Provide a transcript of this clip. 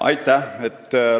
Aitäh!